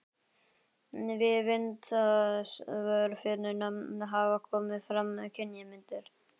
Við vindsvörfunina hafa komið fram kynjamyndir.